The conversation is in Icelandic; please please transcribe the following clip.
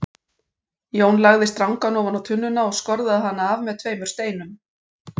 Jón lagði strangann ofan á tunnuna og skorðaði hann af með tveimur steinum.